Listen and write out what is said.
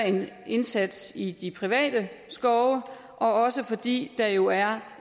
indsats i de private skove og også fordi der jo er